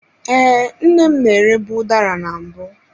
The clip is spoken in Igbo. Ee, nne m na-erebu udara na mbụ.